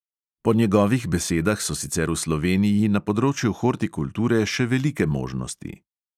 Po njegovih besedah so sicer v sloveniji na področju hortikulture še velike možnosti.